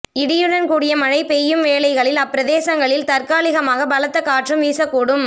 இடியுடன் கூடிய மழை பெய்யும் வேளைகளில் அப்பிரதேசங்களில் தற்காலிகமாக பலத்த காற்றும் வீசக்கூடும்